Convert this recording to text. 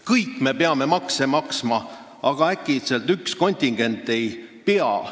Kõik me peame makse maksma, aga äkitselt üks kontingent ei pea.